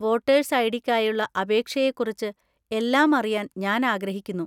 Voters ഐ.ഡി.ക്കായുള്ള അപേക്ഷയെക്കുറിച്ച് എല്ലാം അറിയാൻ ഞാൻ ആഗ്രഹിക്കുന്നു.